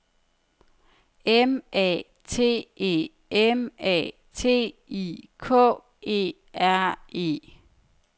M A T E M A T I K E R E